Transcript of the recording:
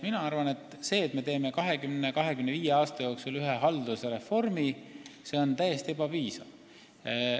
Mina arvan, et see, et me teeme ühte haldusreformi 20–25 aastat, on täiesti ebapiisav.